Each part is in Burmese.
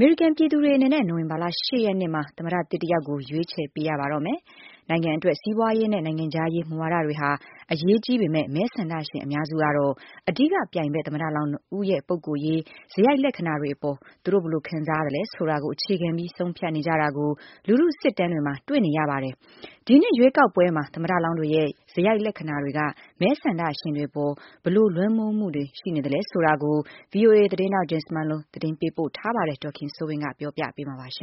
မေရိကန်ပြည်သူတွေအနေနဲ့ နိုဝင်ဘာလ ၈ ရက်နေ့မှာ သမ္မတသစ် တယောက်ကို ရွေးချယ်ပေး ကြပါတော့မယ်။ နိုင်ငံအတွက် စီးပွားရေးနဲ့ နိုင်ငံခြားရေးမူဝါဒတွေဟာ အရေးကြီးပေမဲ့၊ မဲဆန္ဒရှင်အများစုကတော့ အဓိကပြိုင်ဘက်သမ္မတလောင်း ၂ ယောက်ရဲ့ ပုဂ္ဂိုလ်ရေး စရိုက်လက္ခဏာတွေ အပေါ် သူတို့ ဘယ်လိုခံစားရသလဲဆိုတာကို အခြေခံပြီး ဆုံးဖြတ်နေကြတာကို လူထုစစ်တမ်းတွေမှာ တွေ့နေရပါတယ်။ ဒီနှစ်ရွေးကောက်ပွဲမှာ သမ္မတလောင်းတွေရဲ့ စရိုက်လက္ခဏာတွေက မဲဆန္ဒရှင်တွေအပေါ် ဘယ်လိုလွှမ်းမိုးမှုရှိနေသလဲဆိုတာကို VOA သတင်းထောက် Jim Malone ကသတင်းပေးပို့ထားပါတယ်။ ဒေါ်ခင်စိုးဝင်းကပြောပြပေးမှာပါ။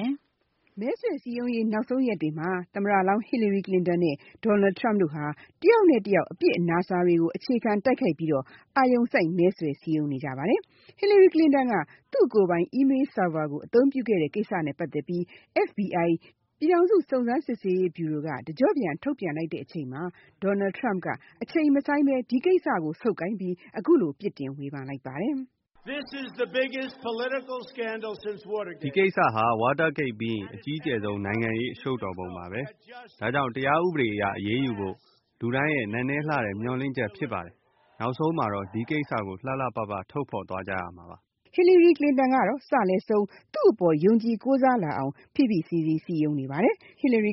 မဲဆွယ်စည်းရုံးရေး နောက်ဆုံးရက်တွေမှာ သမ္မတလောင်း Hillary Clinton နဲ့ Donald Trump တို့ဟာ တယောက်နဲ့တယောက် အပြစ်အနာအဆာတွေကို အခြေခံတိုက်ခိုက်ပြီး အာရုံစိုက် မဲဆွယ်စည်းရုံးနေကြပါတယ်။ Hillary Clinton က သူ့ကိုယ်ပိုင် e-mail server အသုံးပြုခဲ့တဲ့ကိစ္စနဲ့ပတ်သက်ပြီး FBI ပြည်ထောင်စုစုံစမ်းစစ်ဆေးရုံးဗျူရိုက တကျော့ပြန်ထုတ်ပြန်လိုက်တဲ့အချိန်မှာ Donald Trump က အချိန်မဆိုင်းဘဲ ဒီကိစ္စကိုဆုတ်ကိုင်ပြီး အခုလို ပြစ်တင်ဝေဖန်လိုက်ပါတယ်။ “ဒီကိစ္စဟာ Watergate ပြီးရင် အကြီးကျယ်ဆုံး နိုင်ငံရေးအရှုပ်တော်ပုံကြီးပါဘဲ။ ဒါကြောင့် တရားဥပဒေအရအရေးယူဖို့ လူတိုင်းရဲ့ နက်နဲလှတဲ့မျှော်လင့်ချက်ဖြစ်ပါ တယ်။ နောက်ဆုံးမှာတော့ ဒီကိစ္စကို လှလှပပ ထုတ်ဖေါ်သွားကြမှာပါ။” Hillary Clinton ကတော့ စလယ်ဆုံး သူ့အပေါ်ယုံကြည်ကိုးစားလာအောင် ဖိဖိစီးစီး စည်းရုံးနေပါတယ်။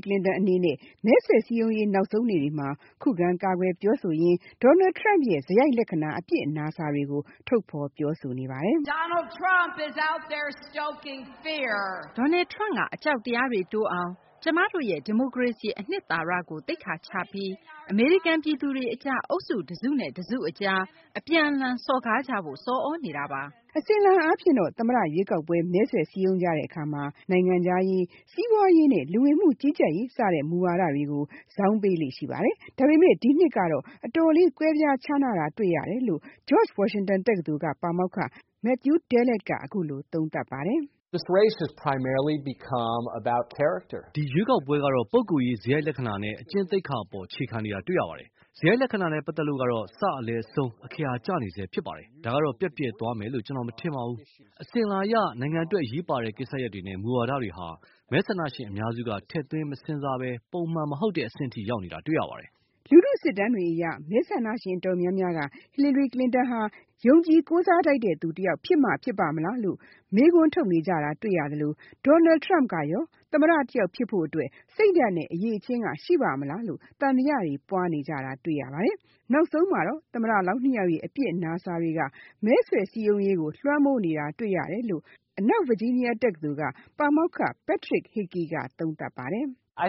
Clinton အနေနဲ့ မဲဆွယ်စည်းရုံးရေးနောက်ဆုံးနေ့တွေမှာ ခုခံကာကွယ်ပြောဆိုရင်း Donald Trump ရဲ့ စရိုက်လက္ခဏာ၊ အပြစ်အနာအဆာတွေကို ထုတ်ဖေါ်ပြောဆိုနေပါတယ်။ “Donald Trump က အကြောက်တရားတွေတိုးအောင်၊ ကျမတို့ရဲ့ ဒီမိုကရေစီ အနှစ်သာရကို သိက္ခာချပြီး အမေရိကန်ပြည်သူတွေအကြား အုပ်စုတစုနဲ့ တစုအကြား အပြန်အလှန် စော်ကားကြဖို့ ဆော်သြနေတာပါ” အစဉ်အလာအားဖြင့်တော့ သမ္မတရွေးကောက်ပွဲ မဲဆွယ် စည်းရုံးကြတဲ့ အခါ နိုင်ငံခြားရေး၊ စီးပွားရေးနဲ့ လူဝင်မှုကြီးကြပ်ရေးမူဝါဒတွေ ကိုဇောင်းပေးလေ့ ရှိပါတယ်။ ဒါပေမဲ့ ဒီနှစ်ကတော့ အတော်လေးကွဲပြားခြားနားတာတွေ့ရတယ်လို့ George Washington တက္ကသိုလ်က ပါမောက္ခ Matthew Dallek ကပြောပါတယ်။ “ဒီရွေးကောက်ပွဲကတော့ ပုဂ္ဂိုလ်ရေး စရိုက်လက္ခဏာနဲ့ အကျင့်သိက္ခာ အပေါ်အခြေခံနေတာတွေ့ရပါတယ်။ စရိုက်လက္ခဏာနဲ့ပတ်သက်လို့ကတော့ စ လယ်ဆုံး အခရာကျနေဆဲဖြစ်ပါတယ်။ ဒါကတော့ ပျက်ပြယ်သွားမယ်လို့ ကျနော်မထင်ပါဘူး။ အစဉ်အလာအရ နိုင်ငံအတွက်အရေးပါတဲ့ကိစ္စရပ်တွေနဲ့ မူဝါဒတွေဟာ မဲဆန္ဒရှင်အများစုက ထည့်သွင်းမစဉ်းစားဘဲ ပုံမှန်မဟုတ်တဲ့ အဆင့်အထိရောက်နေတာတွေ့ရပါတယ်။” လူထုစစ်တမ်းတွေအရ မဲဆန္ဒရှင်တော်တော်များများက Hillary Clinton ဟာ ယုံကြည်ထိုက်တဲ့သူတယောက်ဖြစ်မှဖြစ်ပါ့မလားလို့ မေးခွန်းထုတ်နေကြတာတွေ့ရသလို၊ Donald trump ကရော သမ္မတတယောက်ဖြစ်ဖို့ စိတ်ဓါတ်နဲ့ အရည်အချင်းက ရှိပါ့မလားလို့ သံသယတွေပွားနေကြတာတွေ့ရပါတယ်။ နောက်ဆုံးမှာတော့ သမ္မတလောင်း ၂ ယောက်ရဲ့ အပြစ်အနာအဆာက မဲဆွယ်စည်းရုံးရေးကို လွှမ်းမိုးနေတာတွေ့ရတယ်လို့ အနောက် Virginia တက္ကသိုလ်ပါမောက္ခ Patrick Hikey က သုံးသပ်ပါတယ်။ “အ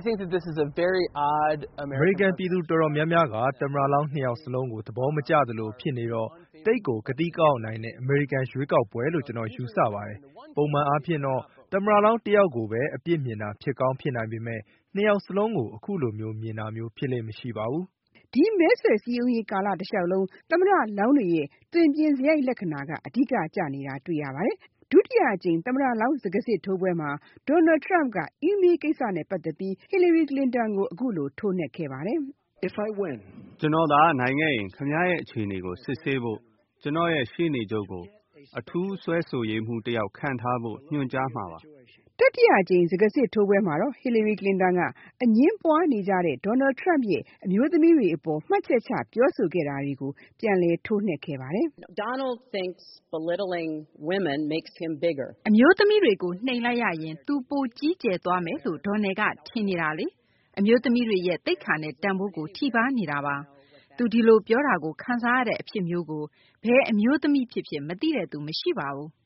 မေရိကန်ပြည်သူအတော်များများက သမ္မတလောင်း ၂ ယောက်စလုံးကို သဘောမကျသလိုဖြစ်နေတော့ သိပ်ကို ကသိကအောက်နိုင်တဲ့ အမေရိကန်ရွေးကောက်ပွဲလို့ ကျနော်ယူဆပါတယ်။ ပုံမှန်အားဖြင့်တော့ သမ္မတလောင်းတယောက်ကိုဘဲ အပြစ်မြင်တာဖြစ်ကောင်းဖြစ်နိုင်ပေမဲ့ ၂ ယောက်စလုံးကိုတော့ အခုလိုမျိုးဖြစ်လေ့မရှိပါဘူး။” အခုမဲဆွယ်စည်းရုံးရေးကာလတလျှောက်လုံး သမ္မတလောင်းတွေရဲ့ စရိုက်လက္ခဏာက အဓိကကျနေတာတွေ့ရပါတယ်။ ဒုတိယအကြိမ်စကားစစ်ထိုးပွဲမှာ Donald Trump က email ကိစ္စနဲ့ပတ်သက်ပြီး Hillary Clinton ကို အခုလို ထိုးနှက်ခဲ့ပါတယ်။ “ကျနော်သာနိုင်ခဲ့ရင်၊ ခင်ဗျားရဲ့ အခြေအနေကို စစ်ဆေးဖို့ ကျနော်ရဲ့ ရှေ့နေချုပ်ကို အထူးစွဲဆိုရေးမှူးတယောက်ခန့်ထားဖို့ ညွှန်ကြားမှာပါ။” တတိယအကြိမ်စကားစစ်ထိုးပွဲမှာတော့ Hillary Clinton က အငြင်းပွားနေကြတဲ့ Donald Trump ရဲ့ အမျိုးသမီးတွေအပေါ် မှတ်ချက်ချပြောဆိုခဲ့တာတွေကို ပြန်လည်ထိုးနှက်ခဲ့ပါတယ်။ “အမျိုးသမီးတွေကို နှိမ်လိုက်ရရင် သူကိ ပိုကြီးကျယ်သွားမယ်လို့ Donald ကထင်နေတာလေ။ အမျိုးသမီးတွေရဲ့ သိက္ခာနဲ့ တန်ဖိုးကို ထိပါးနေတာပါ။ သူဒီလိုပြောတာကိုခံစားရတဲ့ အဖြစ်မျိုးကို ဘယ်အမျိုးသမီးဖြစ်ဖြစ် မသိတဲ့သူမရှိပါဘူး။”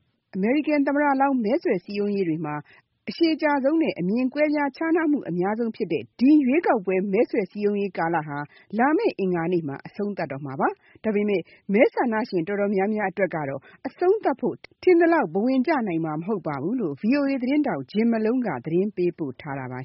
အရှည်ကြာဆုံးနဲ့ အမြင်ကွဲပြားခြားနားမှုအများဆုံးဖြစ်တဲ့ ဒီရွေးကောက်ပွဲ မဲဆွယ်စည်းရုံးရေးကာလဟာ လာမယ့်အင်္ဂါနေ့မှာ အဆုံးသတ်တော့မှာပါ။ ဒါပေမဲ့ မဲဆန္ဒရှင်အတော်များများအတွက်ကတော့ အဆုံးသတ်ဖို့ ထင်သလောက် ဘဝင်ကျနိုင်မှာမဟုတ်ပါဘူးလို့ VOA သတင်းထောက် Jim Malone က သတင်းပေးပို့ထားပါ